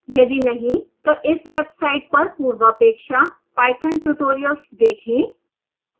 यदि नहीं तो इस वेबसाइट पर पूर्वापेक्षा पाइथन ट्यूटोरियल्स देखें